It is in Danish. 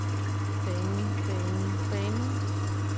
banen banen banen